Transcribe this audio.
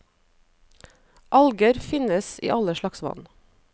Alger finnes i all slags vann.